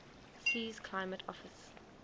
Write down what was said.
sea's climate offers